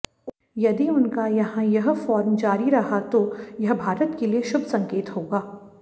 यदि उनका यहां यह फार्म जारी रहा तो यह भारत के लिये शुभ संकेत होगा